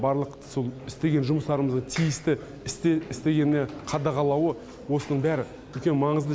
барлық сол істеген жұмыстарымызды тиісті істегені қадағалауы осының бәрі үлкен маңызды